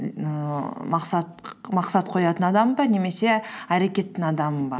ііі мақсат қоятын адаммын ба немесе әрекеттің адамымын ба